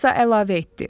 Alisa əlavə etdi.